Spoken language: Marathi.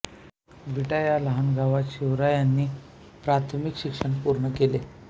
विटा या लहान गावात शिवाजीरावांनी प्राथमिक शिक्षण पूर्ण केले